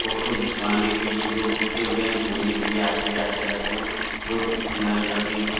Photo खिंचवाने के लिए लोग रुके हुए हैं। घूमने के लिए आते जाते रहते हैं। रोड के किनारे लगी है।